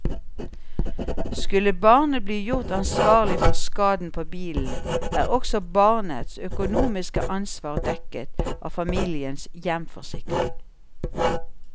Skulle barnet bli gjort ansvarlig for skaden på bilen, er også barnets økonomiske ansvar dekket av familiens hjemforsikring.